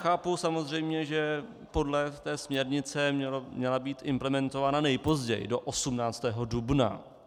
Chápu samozřejmě, že podle té směrnice měla být implementována nejpozději do 18. dubna.